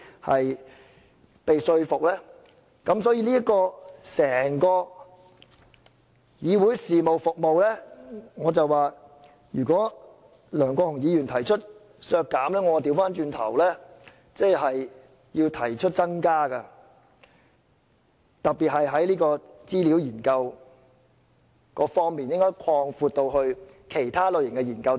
因此，梁國雄議員提出削減整個議會事務服務的預算開支，我會倒過來提出增加，特別是在資料研究方面，我認為應該擴闊至其他類型的研究。